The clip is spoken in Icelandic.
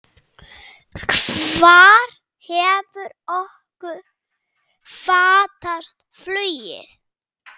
Hvar hefur okkur fatast flugið?